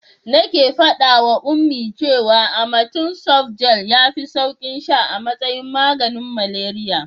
Nake faɗawa Ummi cewa amatem softgel yafi saukin sha a matsayin maganin malaria.